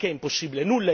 Ma perché impossibile?